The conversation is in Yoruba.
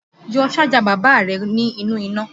Yọ Sájà bàbá rẹ ní inú iná